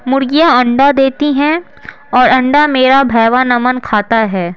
मुर्गियां अंडा देती हैं और अंडा मेरा भैवा नमन खाता है।